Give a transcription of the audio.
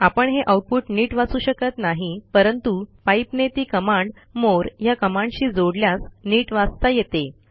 आपण हे आऊटपुट नीट वाचू शकत नाही परंतु पाइप ने ती कमांड मोरे या कमांडशी जोडल्यास नीट वाचता येते